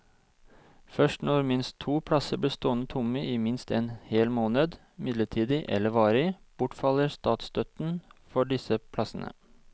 Først når minst to plasser blir stående tomme i minst en hel måned, midlertidig eller varig, bortfaller statsstøtten for disse plassene.